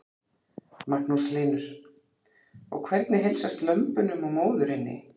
Magnús Hlynur: Og hvernig heilsast lömbunum og móðurinni?